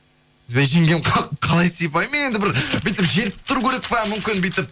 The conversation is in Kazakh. жеңгем қалай сипаймын мен енді бір бүйтіп желпіп тұру керек па мүмкін бүйтіп